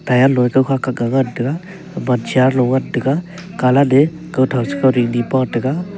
low a kawkha kha ga ngan tega gaman chair low ngan colat a kawtho chi kawding ni ngan tega.